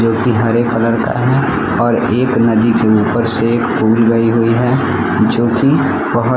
जोकि हरे कलर का है और एक नदी के ऊपर से एक फूल गई हुई है जोकि बहुत --